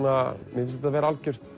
mér finnst þetta vera